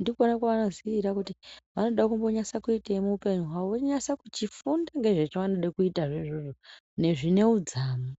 ndikona kwaanoziira kuti vanode kunyatsoitei muupenyu hwavo, vonyatso kuchifunda ngezvavanoda kuchiita izvozvo zviine udzamu.